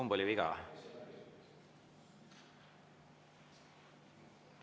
Kumb oli viga?